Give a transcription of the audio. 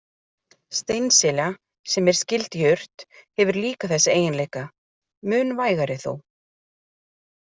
Steinselja, sem er skyld jurt, hefur líka þessa eiginleika, mun vægari þó.